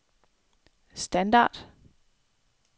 standard